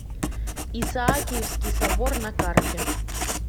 исаакиевский собор на карте